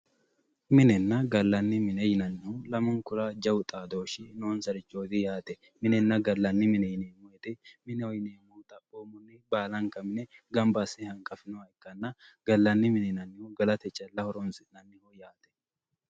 Minenna gallanni mine yinnannihu lamunkura jawu xaadoshshi noonsareti yaate, minenna gallanni mine, mineho yineemmohu xaphomunni baallanka mine gamba asse hanqafinoha ikkanna gallanni mini yinnannihu gallate calla horonsi'nanniho yaate.